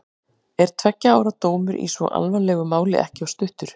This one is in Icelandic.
Er tveggja ára dómur í svo alvarlegu máli ekki of stuttur?